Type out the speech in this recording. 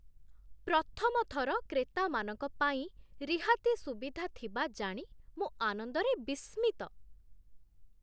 ପ୍ରଥମଥର କ୍ରେତାମାନଙ୍କ ପାଇଁ ରିହାତି ସୁବିଧା ଥିବା ଜାଣି ମୁଁ ଆନନ୍ଦରେ ବିସ୍ମିତ।